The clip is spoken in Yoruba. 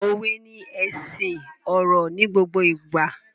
Òwe ni ẹṣin ọ̀rọ̀ ni gbogbo ìgbà